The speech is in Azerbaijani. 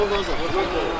Nə oldu ə, nə oldu?